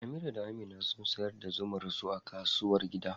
Amira da Amina sun sayar da zumar su a kasuwar gida.